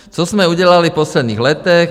Co jsme udělali v posledních letech?